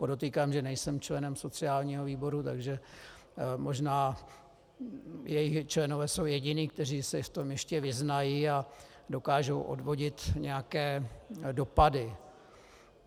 Podotýkám, že nejsem členem sociálního výboru, takže možná jeho členové jsou jediní, kteří se v tom ještě vyznají a dokážou odvodit nějaké dopady.